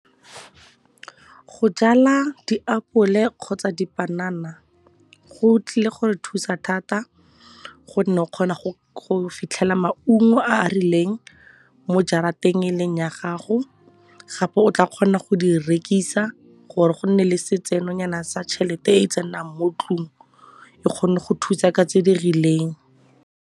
Go jala diapole kgotsa dipanana go tlile gore thusa thata gonne o kgona go fitlhela maungo a a rileng mo jarateng e leng ya gago. Gape o tla kgona go di rekisa gore go nne le setsenonyana sa tšhelete e tsenang mo tlung, e kgone go thusa ka tse di rileng.